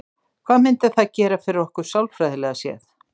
Hvað myndi það gera fyrir okkur sálfræðilega séð?